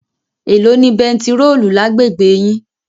Èló ni bẹntiróòlù lágbègbè yín?